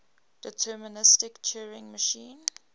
deterministic turing machine